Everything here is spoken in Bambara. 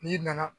N'i nana